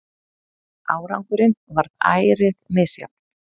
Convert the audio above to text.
Árangurinn varð ærið misjafn.